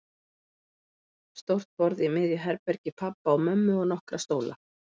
Stórt borð í miðju herbergi pabba og mömmu og nokkra stóla.